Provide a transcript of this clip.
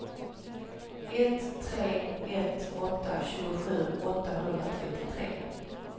ett tre ett åtta tjugosju åttahundratrettiotre